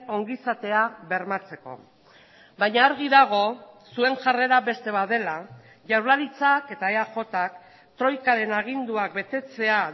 ongizatea bermatzeko baina argi dago zuen jarrera beste bat dela jaurlaritzak eta eajk troikaren aginduak betetzea